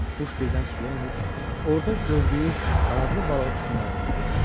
Quş birdən suya enib, orda gördüyü qanadlı balığı tutmağa can atdı.